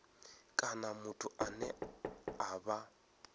kana muthu ane a vha